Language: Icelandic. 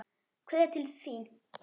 Kveðja til þín, elsku Freddi.